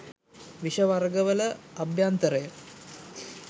විෂ වර්ග වල අභ්‍යන්තරය